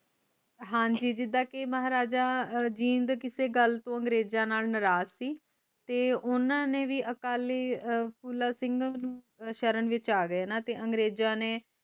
ਹਾਂਜੀ ਜੀਦਾ ਕਿ ਮਹਾਰਾਜਾ ਜੀਂਦ ਕਿਸੇ ਗੱਲ ਤੋਂ ਅੰਗਰੇਜਾਂ ਨਾਲ ਨਾਰਾਜ ਸੀ ਤੇ ਓਹਨਾ ਨੇ ਵੀ ਅਕਾਲੀ ਫੂਲਾ ਸਿੰਘ ਸ਼ਰਨ ਵਿਚ ਆਗਏ